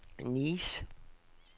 Nice